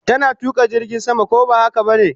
Tana tuka jirgin sama, ko ba haka bane?